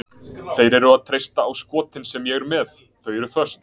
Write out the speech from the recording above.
Þeir eru að treysta á skotin sem ég er með, þau er föst.